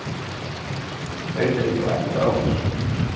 Reykjavík á ekkert ráðhús.